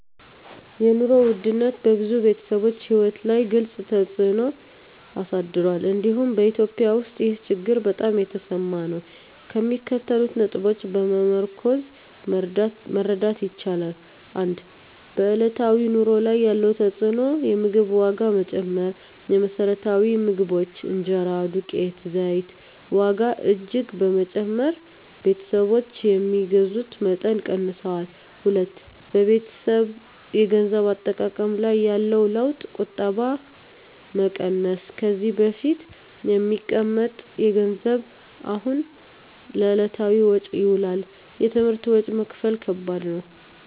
የኑሮ ውድነት በብዙ ቤተሰቦች ሕይወት ላይ ግልፅ ተፅዕኖ አሳድሯል፤ እንዲሁም በEthiopia ውስጥ ይህ ችግር በጣም የተሰማ ነው። ከሚከተሉት ነጥቦች በመመርኮዝ መረዳት ይቻላል፦ 1. በዕለታዊ ኑሮ ላይ ያለው ተፅዕኖ የምግብ ዋጋ መጨመር: የመሰረታዊ ምግቦች (እንጀራ፣ ዱቄት፣ ዘይት) ዋጋ እጅግ በመጨመር ቤተሰቦች የሚገዙትን መጠን ቀንሰዋል። 2. በቤተሰብ የገንዘብ አጠቃቀም ላይ ያለው ለውጥ ቁጠባ መቀነስ: ከዚህ በፊት የሚቀመጥ ገንዘብ አሁን ለዕለታዊ ወጪ ይውላል። የትምህርት ወጪ መክፈል ከባድ መሆን